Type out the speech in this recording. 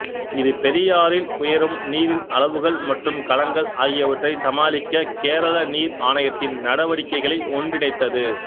இது பெரியாறில் உயரும் நீரின் அளவுகள் மற்றும் கலங்கள் ஆகியவற்றை சமாளிக்க கேரள நீர் ஆணையத்தின் நடவடிக்கைகளை ஒன்றிணைத்தது